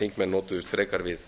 þingmenn notuðust frekar við